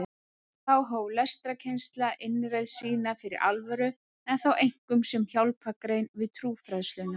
Þá hóf lestrarkennsla innreið sína fyrir alvöru en þá einkum sem hjálpargrein við trúfræðsluna.